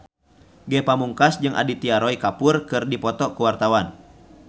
Ge Pamungkas jeung Aditya Roy Kapoor keur dipoto ku wartawan